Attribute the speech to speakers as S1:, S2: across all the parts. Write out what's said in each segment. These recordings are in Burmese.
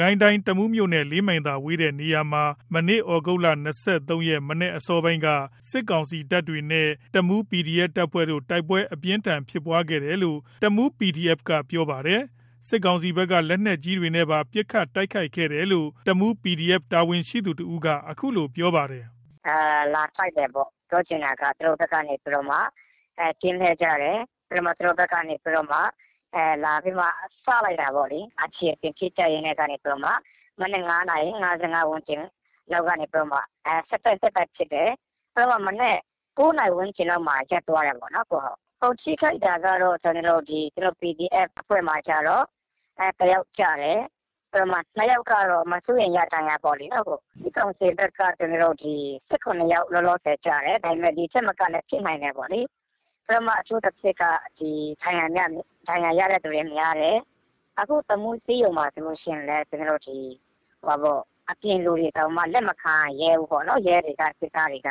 S1: ကိုင်းတိုင်း တမူးမြို့နဲ့ ၄ မိုင်သာ ကွာဝေးတဲ့နေရာမှာ ဒီကနေ့ သြဂုတ် ၂၃ ရက် မနက်အစောပိုင်းက စစ်ကောင်စီတပ်တွေနဲ့ တမူး PDF တပ်ဖွဲ့တို့ တိုက်ပွဲ အပြင်းအထန်ဖြစ်ပွားခဲ့တယ်လို့ တမူး PDF ကပြောပါတယ်။ စစ်ကောင်စီဘက်က လက်နက်ကြီးတွေနဲ့ပါ ပစ်ခတ်တိုက်ခိုက်တယ်လို့တမူး PDF တာဝန်ရှိသူတဦးက အခုလိုပြောပါတယ်
S2: ။ “
S3: လာတိုက်တယ်ပေါ့။ သူတို့ဘက်က ကင်းလှည့်ကြတယ်။ သူတို့ဘက်က လာပြီးတော့ စလိုက်တာ ပေါ့လေ။ အခြေတင်ဖြစ်ကြရင်းကနေ မနက် ၅ နာရီ ကနေ ဆက်တိုက် ဆက်တိုက်ဖြစ်တယ်။ မနက် ၉ နာရီဝန်းကျင်လောက်မှာ ရပ်သွားတယ်ပေါ့လေ။ ထိခိုက်တာက PDF အဖွဲ့က တယောက်ကျတယ်။ ၂ ယောက်ကတော့ မစိုးရိမ်ရ ဒဏ်ရာပေါ့လေ။ စစ်ကောင်စီဘက်ကတော့ ၁၇ ယောက် လောလောဆယ် ကျတယ်။ ဒီ့ထက်မကလည်း ဖြစ်နိုင်တယ်ပေါ့လေ။ အထူးသဖြင့်က ဒဏ်ရာရတဲ့သူတွေများတယ်။ အခုတမူး ဆေးရုံမှာ ဆိုလို့ရှိရင်လည်း အပြင်လူတွေတောင် လက်မခံရဲဘူးပေါ့လေ။ ရဲတွေက စစ်သားတွေက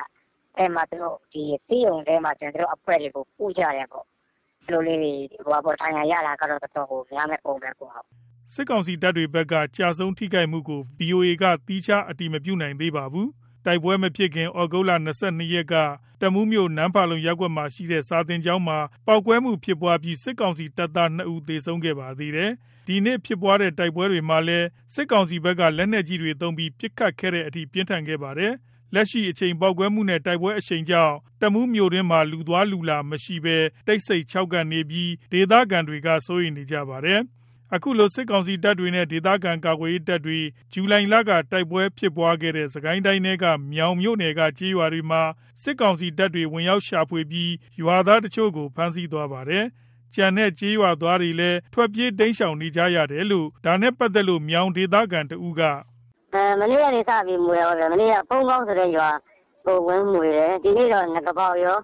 S3: ဆေးရုံထဲမှာ သူတို့အဖွဲ့တွေကို ကုကြတယ်ပေါ့လေ။ ဒဏ်ရာရတာကတော်တော်ကို များမယ့်ပုံပဲ။
S1: ” စစ်ကောင်စီတပ်တွေဘက်က ကျဆုံး ထိခိုက်မှုကို ဗီအိုအေက သီးခြား အတည်မပြုနိုင်သေးပါဘူး။ တိုက်ပွဲ မဖြစ်ခင် သြဂုတ် ၂၂ ရက်က တမူးမြို့ နမ့်ဖာလုံ ရပ်ကွက်မှာရှိတဲ့ စာသင်ကျောင်းမှာ ပေါက်ကွဲမှု ဖြစ်ပွားပြီး စစ်ကောင်စီတပ်သား ၂ ဦး သေဆုံးခဲ့ပါသေးတယ်။ ဒီနေ့ဖြစ်ပွားတဲ့ တိုက်ပွဲမှာလည်း စစ်ကောင်စီဘက်က လက်နက်ကြီးတွေ သုံးပြီး ပစ်ခတ်ခဲ့တဲ့အထိ ပြင်းထန်ခဲ့ပါတယ်။ လက်ရှိအချိန် ပေါက်ကွဲမှုနဲ့ တိုက်ပွဲအရှိန်ကြောင့် တမူးမြို့တွင်းမှာ လူသွားလူလာမရှိဘဲ တိတ်ဆိတ်ခြောက်ကပ်နေပြီး ဒေသခံတွေက စိုးရိမ်နေပါတယ်။ ခုလိုစစ်ကောင်စီတပ်တွေနဲ့ ဒေသခံကာကွယ်ရေးတပ်တွေ ဇူလိုင်လက တိုက်ပွဲဖြစ်ပွားခဲ့တဲ့ စစ်ကိုင်းတိုင်းထဲက မြောင်မြို့နယ်က ကျေးရွာတွေမှာ စစ်ကောင်စီတပ်တွေ ဝင်ရောက်ရှာဖွေပြီး ရွာသားတချို့ကို ဖမ်းဆီးသွားပါတယ်။ ကျန်တဲ့ကျေးရွာသားတွေလည်း ထွက်ပြေးတိမ်းရှောင် နေကြရ တယ်လို့ ဒါနဲ့ပတ်သက်လို့ မြောင်ဒေသခံတဦးက
S2: “မနေ့ကနေစပြီး မွှေတာပေါ့ဗျာ။ မနေ့က ဖုန်းမောင်းဆိုတဲ့ ရွာကိုဝင်မွှေတယ်။ ဒီနေ့တော့ နဂါးပေါက်ကော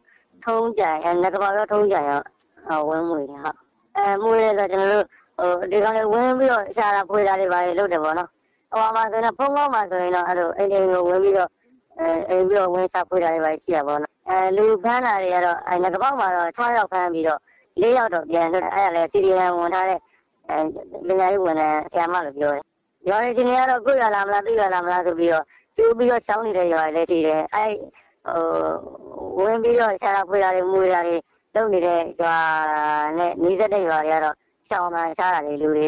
S2: ထုံးကြိုင်ကော ဝင်မွှေတယ်။ မွှေတယ်ဆိုတာ ဒီကောင်တွေဝင်ပြီးတော့ ရှာတာဖွေ တာတွေလုပ်တယ်။ ဖုန်းမောင်းမှာဆိုရင် အိမ်တွေဝင်ရှာဖွေတာတွေရှိတာပေါ့။ နဂါးပေါက်မှာတော့ ၆ ယောက်ပြီးတော့ ၄ ယောက် ပြန်လွတ်တယ်လို့သိတယ်။ ပြန်လွတ်တာ CDM ဝင်ထားတဲ့ ဆရာမ ဝန်ထမ်းလို့ပြောတယ်။ ရွာတွေ အခြေအနေကတော့ ကိုယ့်ရွာလာမလား သူ့ရွာလာမလား ကြိုပြီး ရှောင်နေတဲ့ရွာတွေရှိတယ်။ ဝင်ပြီးတော့ ရှာတာဖွေတာတွေ လုပ်နေတဲ့ ရွာတွေနဲ့ နီးစပ်တဲ့ရွာတွေ ရှောင်တာ ရှားတာတွေ လူတွေ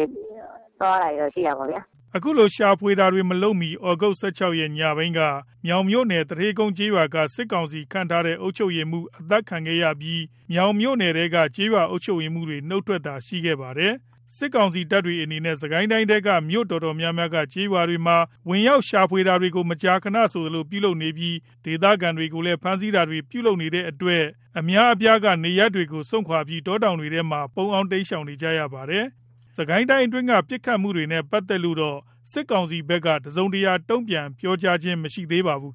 S2: သွားတာတွေ ရှိတာပေါ့။
S1: ” အခုလို ရှာဖွေတာတွေ မလုပ်မှီ သြဂုတ် ၁၆ ရက် ညပိုင်းက မြောင်မြို့နယ် သူဌေးကုန်းကျေးရွာက စစ်ကောင်စီခန့်ထားတဲ့ အုပ်ချုပ်ရေးမှူး အသတ်ခံခဲ့ရပြီး မြောင်မြို့နယ်ထဲက ကျေးရွာအုပ်ချုပ် ရေးမှူးတွေ နှုတ်ထွက်တာတွေ ရှိခဲ့ပါတယ်။ စစ်ကောင်စီတပ်တွေအနေနဲ့ စစ်ကိုင်းတိုင်းထဲက မြို့တော်တော်များများက ကျေးရွာတွေမှာ ဝင်ရောက်ရှာဖွေတာတွေကို မကြာခဏဆိုသလို ပြုလုပ်နေပြီး ဒေသခံတွေကိုလည်း ဖမ်းဆီးတာတွေ ပြုလုပ်နေတဲ့အတွက် ဒေသခံအများအပြားက နေရပ်တွေကို စွန့်ခွါပြီး တောတောင်တွေထဲမှာ ပုန်းအောင်း တိမ်းရှောင်နေရပါတယ်။ စစ်ကိုင်းတိုင်းအတွင်းက မနေ့က ပစ်ခတ်မှုတွေနဲ့ ပတ်သက်လို့တော့ စစ်ကောင်စီဖက်ကတော့ တစုံတရာတုံပြန်ပြောကြားခြင်းမရှိသေးပါဘူး